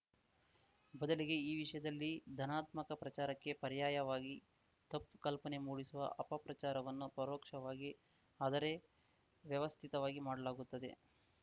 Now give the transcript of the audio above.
ಬದಲಿಗೆ ಈ ವಿಷಯದಲ್ಲಿ ಧನಾತ್ಮಕ ಪ್ರಚಾರಕ್ಕೆ ಪರ್ಯಾಯವಾಗಿ ತಪ್ಪು ಕಲ್ಪನೆ ಮೂಡಿಸುವ ಅಪಪ್ರಚಾರವನ್ನು ಪರೋಕ್ಷವಾಗಿ ಅದರೆ ವ್ಯವಸ್ಥಿತವಾಗಿ ಮಾಡಲಾಗುತ್ತದೆ